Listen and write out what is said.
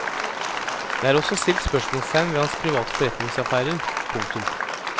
Det er også stilt spørsmålstegn ved hans private forretningsaffærer. punktum